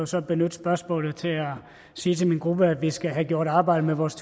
så benytte spørgsmålet til at sige til min gruppe at vi skal have gjort arbejdet med vores